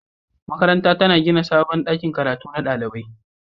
Makarantar tana gina sabon ɗakin karatu na ɗalibai.